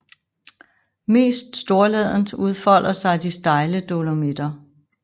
Mest storladent udfolder sig de stejle Dolomitter